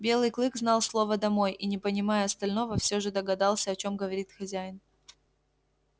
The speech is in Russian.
белый клык знал слово домой и не понимая остального все же догадался о чем говорит хозяин